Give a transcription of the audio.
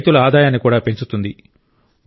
ఇది రైతుల ఆదాయాన్ని కూడా పెంచుతుంది